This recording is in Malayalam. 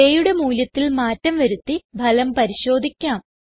ഡേ യുടെ മൂല്യത്തിൽ മാറ്റം വരുത്തി ഫലം പരിശോധിക്കാം